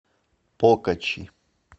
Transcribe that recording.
покачи